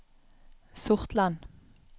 Sortland